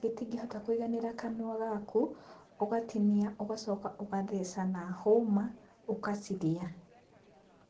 gĩtingĩhota kũiganĩra kanua gaku, ũgatinia ũgacoka ũgatheca na hũma ũgacirĩa.